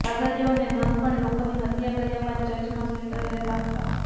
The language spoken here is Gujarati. પાદરીઓ અને નન પણ લોકોની હત્યા કર્યા બાદ ચર્ચમાં શેલ્ટર લેતા હતા